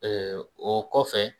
o kɔfɛ